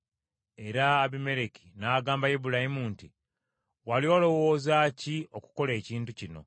Era Abimereki n’agamba Ibulayimu nti, “Wali olowooza ki okukola ekintu kino?”